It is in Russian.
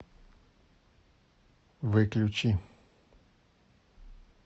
выключи